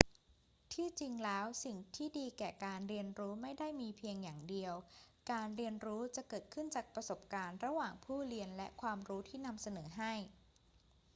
ที่จริงแล้วสิ่งที่ดีแก่การเรียนรู้ไม่ได้มีเพียงอย่างเดียว การเรียนรู้จะเกิดขึ้นจากประสบการณ์ระหว่างผู้เรียนและความรู้ที่นำเสนอให้